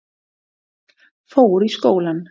Fór í skólann.